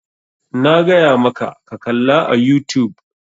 Na gaya maka ka kalla a youtube!